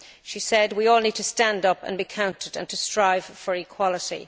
She said we all need to stand up and be counted and to strive for equality.